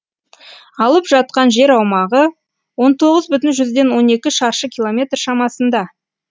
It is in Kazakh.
алып жатқан жер аумағы он тоғыз бүтін жүзден он екі шаршы километр шамасында